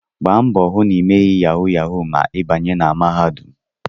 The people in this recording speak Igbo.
Gba mbọ hụ na ịmeghị yahu yahu ma ị banye na mahadum!